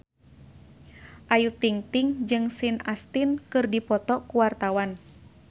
Ayu Ting-ting jeung Sean Astin keur dipoto ku wartawan